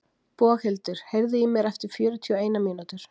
Boghildur, heyrðu í mér eftir fjörutíu og eina mínútur.